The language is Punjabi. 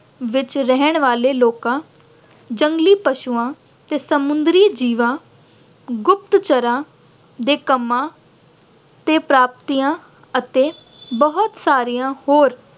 ਵਿੱਚ ਰਹਿਣ ਵਾਲੇ ਲੋਕਾਂ ਜੰਗਲੀ ਪਸ਼ੂਆਂ ਤੇ ਸਮੁੰਦਰੀ ਜੀਵਾਂ, ਗੁਪਤ ਚਰਾਂ ਦੇ ਕੰਮਾਂ ਤੇ ਪ੍ਰਾਪਤੀਆਂ ਅਤੇ ਬਹੁਤ ਸਾਰੀਆਂ ਹੋਰ